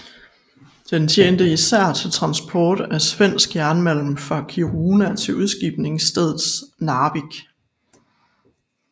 Den tjente især til transport af svensk jernmalm fra Kiruna til udskibningsstedet Narvik